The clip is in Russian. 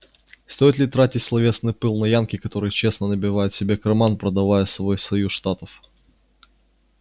стоит ли тратить словесный пыл на янки которые честно набивают себе карман продавая свой союз штатов